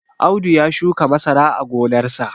Audu ya shuka masara a gonarsa